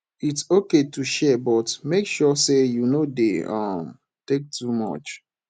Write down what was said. its okay to share but make sure say you no dey um take too much